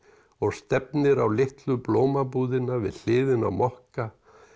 og stefnir á litlu blómabúðina við hliðina á mokka